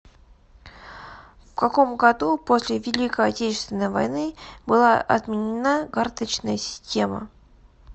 в каком году после великой отечественной войны была отменена карточная система